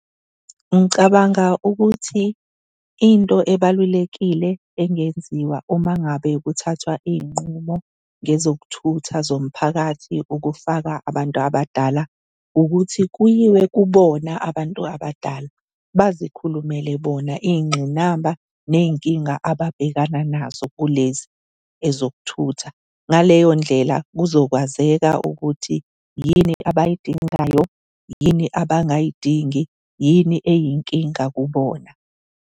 Ngicabanga ukuthi into ebalulekile engenziwa uma ngabe kuthathwa iy'nqumo ngezokuthutha zomphakathi ukufaka abantu abadala, ukuthi kuyiwe kubona abantu abadala bazikhulumele bona iy'ngqinamba, ney'nkinga ababhekana nazo kulezi ezokuthutha. Ngaleyo ndlela kuzokwazeka ukuthi yini abayidingayo, yini abangayidingi, yini eyinkinga kubona.